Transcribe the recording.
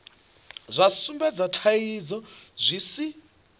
zwa sumbedza thaidzo zwi si